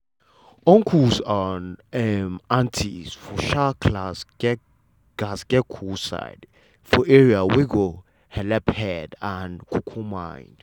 uncle and um auntie for um class gatz get cool side for area wey go helep head and um mind.